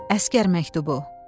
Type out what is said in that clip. Əsgər məktubu.